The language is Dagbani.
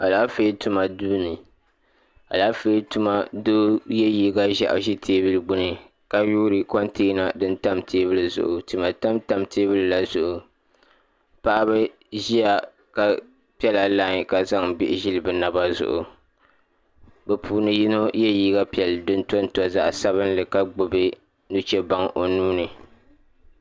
Alaafee tuma duuni alaafee tuma duu ye liiga ʒehi ʒi teebuli gbini ka yoori kontina din tam teebuli maa zuɣu tima tam tam teebuli la zuɣu paɣaba ʒia ka piɛla lai ka zaŋ bihi zili bɛ naba zuɣu bɛ puuni yino ye liiga piɛlli din tonto zaɣa sabinli ka gbibi nuchebaŋa o nuuni.